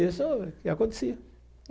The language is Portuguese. Isso já acontecia.